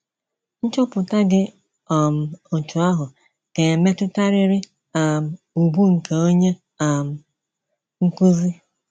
Nchọpụta dị um otú ahụ ga - emetụtarịrị um ùgwù nke onye um nkụzi. ”